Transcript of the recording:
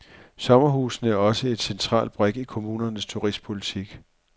Sommerhusene er også en central brik i kommunernes turistpolitik.